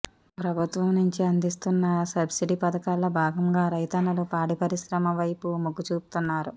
ప్రభుత్వం నుంచి అందిస్తున్న సబ్సిడీ పథకాల్లో భాగంగా రైతన్నలు పాడి పరిశ్రమ వైపు మొగ్గుచూపుతున్నారు